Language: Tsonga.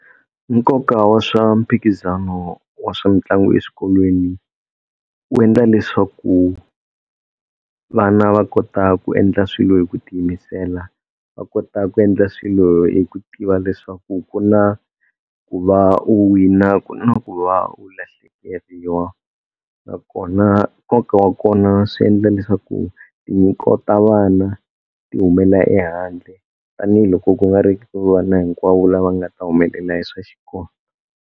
Nkoka wa swa mphikizano wa swa mitlangu eswikolweni wu endla leswaku vana va kota ku endla swilo hi ku tiyimisela va kota ku endla swilo hi ku tiva leswaku ku na ku va u wina ku na ku va u lahlekeriwa nakona nkoka wa kona swi endla leswaku tinyiko ta vana ti humela ehandle tanihiloko ku nga ri ku vana hinkwawo lava nga ta humelela hi swa xikolo.